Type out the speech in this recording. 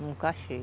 Nunca achei.